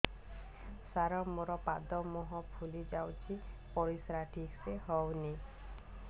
ସାର ମୋରୋ ପାଦ ମୁହଁ ଫୁଲିଯାଉଛି ପରିଶ୍ରା ଠିକ ସେ ହଉନି